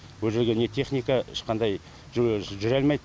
ол жерге не техника ешқандай жүре жүре алмайды